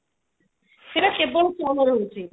ସେଟା କେବଳ